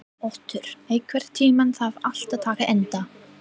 Otur, einhvern tímann þarf allt að taka enda.